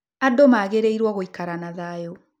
Andũ magĩrĩirwo gũikara na thayũ